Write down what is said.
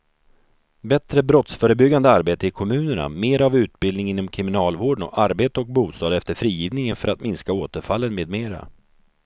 Bättre brottsförebyggande arbete i kommunerna, mera av utbildning inom kriminalvården och arbete och bostad efter frigivningen för att minska återfallen med mera.